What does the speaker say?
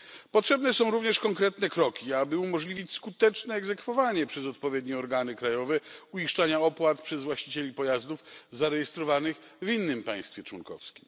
Potrzebne są również konkretne kroki, aby umożliwić skuteczne egzekwowanie przez odpowiednie organy krajowe uiszczania opłat przez właścicieli pojazdów zarejestrowanych w innym państwie członkowskim.